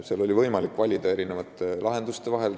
Meil oli võimalik valida erinevate lahenduste vahel.